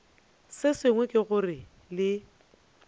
se sengwe ke gore le